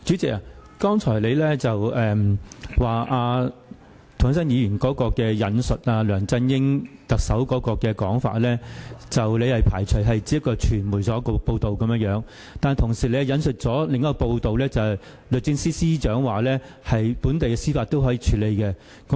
主席，你剛才說涂謹申議員引述梁振英特首的說法，所謂"不排除釋法"只是傳媒的報道，但你同時引述了另一份報道，指出律政司司長說本地的司法制度可以作出處理。